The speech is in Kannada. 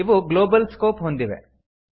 ಇವು ಗ್ಲೋಬಲ್ ಸ್ಕೋಪ್ ಹೊಂದಿವೆ